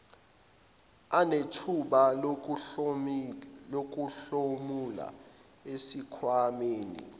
anethuba lokuhlomula esikhwamaneni